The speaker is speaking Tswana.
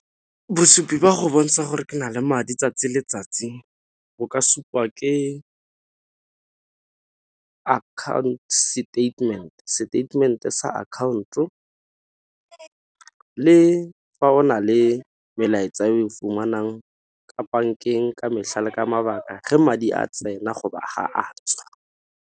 Bosupi ba go bontsha gore ke na le madi 'tsatsi le 'tsatsi bo ka supa ke account statement, statement-e sa account le fa o na le melaetsa o fumanang ka bankeng ka mehla le ka mabaka ga madi a tsena go ba ha a tswa.